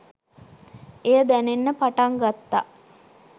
එය දැනෙන්න පටන් ගත්තා.